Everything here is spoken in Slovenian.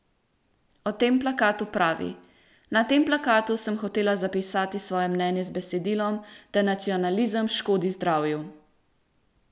O tem plakatu pravi: "Na tem plakatu sem hotela zapisati svoje mnenje z besedilom, da nacionalizem škodi zdravju.